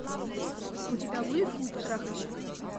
у тебя будет клуб трахальщиков